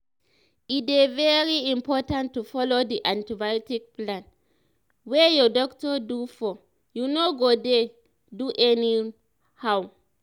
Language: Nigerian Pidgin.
e dey very important to follow the antibiotic plan wey your doctor do for you no go dey do anyhow